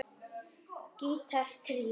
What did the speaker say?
Gítar tríó